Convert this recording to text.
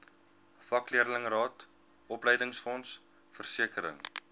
vakleerlingraad opleidingsfonds versekering